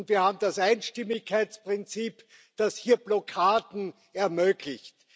Und wir haben das Einstimmigkeitsprinzip, das hier Blockaden ermöglicht.